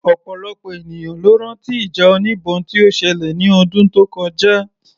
Ọ̀pọ̀lọpọ̀ ènìyàn ló rán tí ìjà oníbọn tí ó ṣẹlẹ̀ ní ọdún tó kọjá